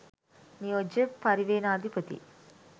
නියෝජ්‍ය පරිවේනාධිපති